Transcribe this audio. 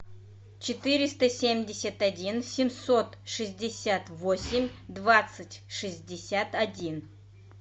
четыреста семьдесят один семьсот шестьдесят восемь двадцать шестьдесят один